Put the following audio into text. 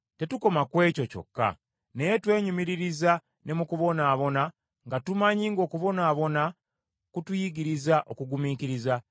Tetukoma ku ekyo kyokka, naye twenyumiririza ne mu kubonaabona, nga tumanyi ng’okubonaabona kutuyigiriza okugumiikiriza.